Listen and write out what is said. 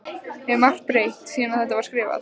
Er margt breytt síðan að þetta var skrifað?